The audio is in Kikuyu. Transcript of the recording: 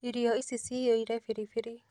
Irio ici ciyũire biribiri